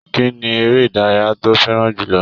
Kínní eré ìdárayá tó fẹràn jùlọ?